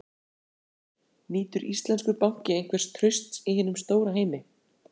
Guðný Helga Herbertsdóttir: Nýtur íslenskur banki einhvers trausts í hinum stóra heimi?